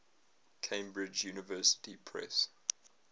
cambridge university press